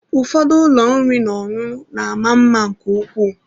Ụfọdụ ụlọ oriri na ọṅụṅụ mara mma nke ukwuu.